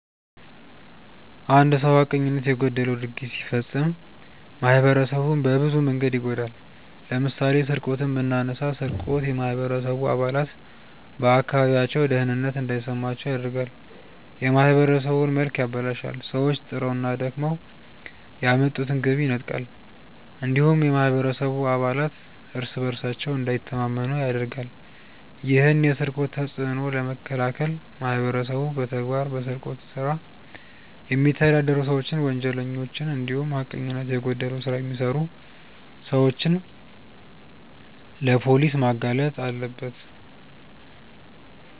አንድ ሰው ሀቀኝነት የጎደለው ድርጊት ሲፈጽም ማህበረሰቡን በብዙ መንገድ ይጎዳል። ለምሳሌ ስርቆትን ብናነሳ ስርቆት የማህበረሰቡ አባላት በአካባቢያቸው ደህንነት እንዳይሰማቸው ያደርጋል፣ የማህበረሰቡን መልክ ያበላሻል፣ ሰዎች ጥረውና ደክመው ያመጡትን ገቢ ይነጥቃል እንዲሁም የማህበረሰቡ አባላት እርስ በእርሳቸው እንዳይተማመኑ ያደርጋል። ይህን የስርቆት ተጽዕኖ ለመከላከል ማህበረሰቡ በመተባበር በስርቆት ስራ የሚተዳደሩ ሰዎችን፣ ወንጀለኞችን እንዲሁም ሀቀኝነት የጎደለው ስራ የሚሰሩ ሰዎችን ለፖሊስ ማጋለጥ አለበት።